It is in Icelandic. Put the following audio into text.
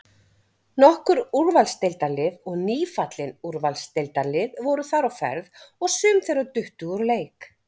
Nokkur Úrvalsdeildarlið og nýfallin Úrvalsdeildarlið voru þar á ferð og sum þeirra duttu úr leik.